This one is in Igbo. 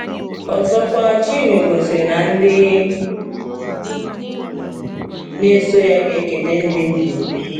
Ọzọkwa, Chinwe gosiri na ndị na-eso ya “ga-eketa ndụ ebighị ebi.”